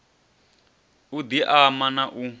u di ama na u